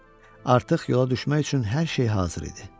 Artıq yola düşmək üçün hər şey hazır idi.